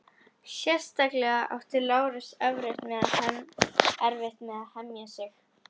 Sérstaklega átti Lárus erfitt með að hemja sig.